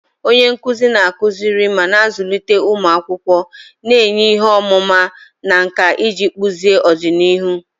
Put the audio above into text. Onye nkuzi na-akụziri ma na-azụlite ụmụ akwụkwọ, na-enye ihe ọmụma na nkà iji kpụzie ọdịnihu.